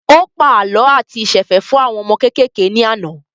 Ó pa àlọ́ àti ìsẹ̀fẹ̀ fún àwọn ọmọ kékèké náà ní àná